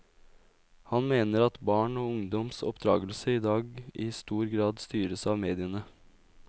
Han mener at barn og ungdoms oppdragelse i dag i stor grad styres av mediene.